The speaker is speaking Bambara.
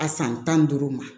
A san tan ni duuru ma